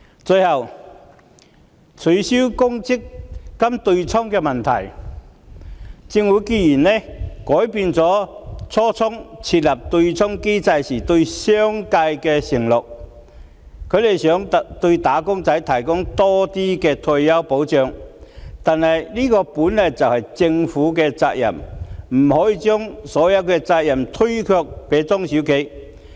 最後，有關取消強制性公積金對沖的問題，政府改變了當初設立對沖機制時對商界的承諾，想對"打工仔"提供多些退休保障，不過，這本來就是政府的責任，不可以將所有責任推卸給中小企。